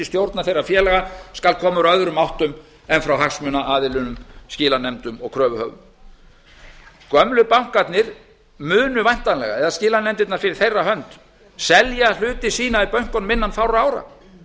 stjórnar þeirra félaga skulu koma úr öðrum áttum en frá hagsmunaaðilum skilanefndum og kröfuhöfum gömlu bankarnir munu væntanlega eða skilanefndirnar fyrir þeirra hönd selja hluti sína í bönkunum innan fárra ára